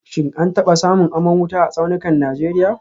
Shin an taba samun aman wuta a tsaunukan Najeriya